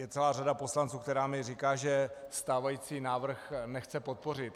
Je celá řada poslanců, která mně říká, že stávající návrh nechce podpořit.